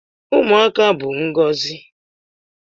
Ụmụaka bụ ngọzi